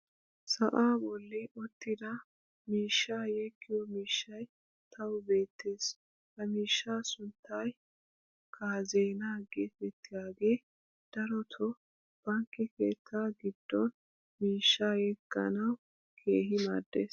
sa"aa boli uttida miishshaa yeggiyo miishshay tawu beetees. ha miishsha sunttay kaazzeenaa geetettiyaagee darotoo bankke keettaa giddon miishshaa yegganwu keehi maadees.